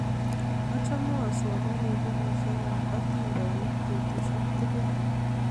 Achame asomani pukuisyek ap atindonik petusyek tukul